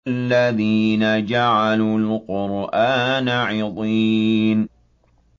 الَّذِينَ جَعَلُوا الْقُرْآنَ عِضِينَ